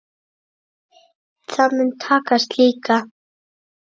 Það mun takast líka.